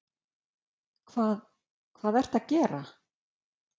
Þórir Guðmundsson: Hvað, hvað ertu að gera?